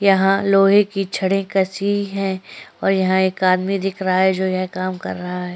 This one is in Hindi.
यहाँ लोहे के छड़े कसी है और यहाँ एक आदमी दिख रहा है जो काम कर रहा है।